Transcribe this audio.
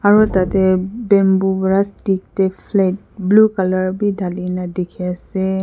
aro tate bamboo para stick teh flag blue colour beh talikina teki ase.